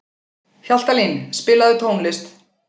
Hjaltalín, spilaðu tónlist.